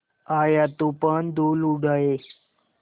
आया तूफ़ान धूल उड़ाए